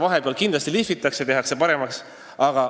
Vahepeal seda kindlasti lihvitakse ja tehakse paremaks.